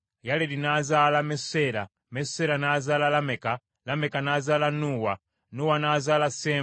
Yaledi n’azaala Enoka, Enoka n’azaala Mesuseera, Mesuseera n’azaala Lameka, Lameka n’azaala Nuuwa.